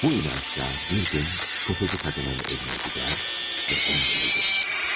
Bu inanc ilə bir gün təfəççi qadının evinə gedər və onu öldürür.